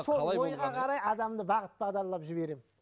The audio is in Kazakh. сол ойға қарай адамды бағыт бағдарлап жіберемін